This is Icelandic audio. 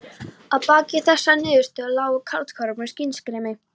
Að baki þessari niðurstöðu lágu kaldhömruð skynsemisrök.